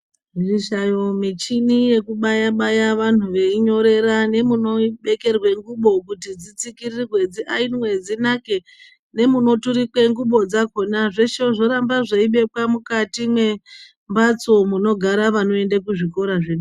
Mishayo michini yekubaya-baya vanhu veinyorera, nemunopfekerwe ngubo kuti, dzitsikirirwe, dziayinwe, dzinake, nemunoturikwe ngxubo dzakhona, zveshe zvoramba zveibekwa mukati mwembatso, munogara vanoende kuzvikora zvede.....